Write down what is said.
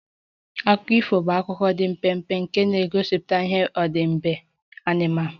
Akụkọ ifo bụ akụkọ dị mpempe nke na-egosipụta ihe odide anụmanụ